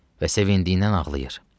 Və sevindiyindən ağlayır.